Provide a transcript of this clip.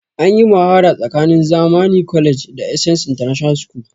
Anyi muhawara tsakanin zamani college da essence international school